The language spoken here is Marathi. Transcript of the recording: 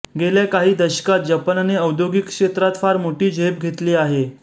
गेल्या काही दशकात जपानने औद्योगिक क्षेत्रात फार मोठी झेप घेतली आहे